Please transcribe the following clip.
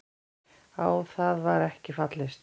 Á það var ekki fallist.